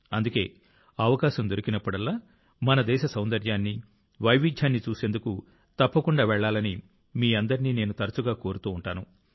అందుకే అవకాశం దొరికినప్పుడల్లా మన దేశ సౌందర్యాన్ని వైవిధ్యాన్ని చూసేందుకు తప్పకుండా వెళ్లాలని మీ అందరినీ నేను తరచుగా కోరుతూ ఉంటాను